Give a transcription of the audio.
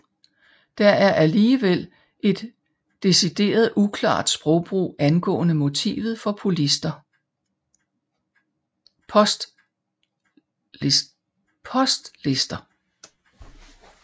Der er alligevel et decideret uklart sprogbrug angående motivet for postlister